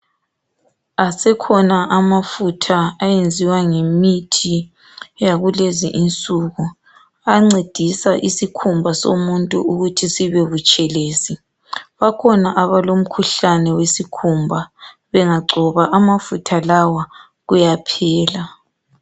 Asekhona amafutha ayenziwa ngemithi yakulezi insuku. Ancedisa isikhumba somuntu ukuthi sibe butshelezi, bakhona abalemikhuhlane wesikhumba bengagcoba amafutha lawa kuyaphela.